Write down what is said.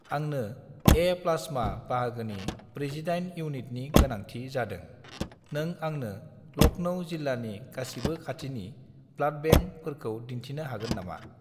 आंनो A- plasma बाहागोनि 48 इउनिटनि गोनांथि जादों, नों आंनो लखनउ जिल्लानि गासिबो खाथिनि ब्लाड बेंकफोरखौ दिन्थिनो हागोन नामा?